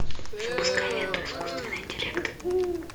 запускай ленту искусственный интеллект